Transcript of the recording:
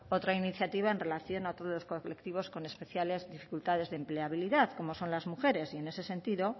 otra iniciativa en relación a colectivos con especiales dificultades de empleabilidad como son las mujeres y en ese sentido